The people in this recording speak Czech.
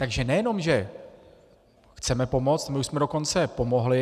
Takže nejenom že chceme pomoci, my už jsme dokonce pomohli.